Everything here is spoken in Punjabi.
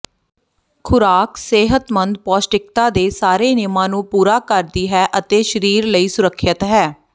ਖੁਰਾਕ ਸਿਹਤਮੰਦ ਪੌਸ਼ਟਿਕਤਾ ਦੇ ਸਾਰੇ ਨਿਯਮਾਂ ਨੂੰ ਪੂਰਾ ਕਰਦੀ ਹੈ ਅਤੇ ਸਰੀਰ ਲਈ ਸੁਰੱਖਿਅਤ ਹੈ